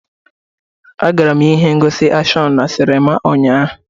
Agara m ihe ngosi akshọn na sinima ụnyaahụ.